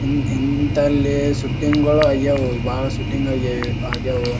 ಇನ್ ಇಂಥಲ್ಲಿ ಸೂಟಿಂಗ್ ಗಳು ಆಯವೂ ಬಹಳ ಶೂಟಿಂಗ್ ಆಗ್ಯಾವ.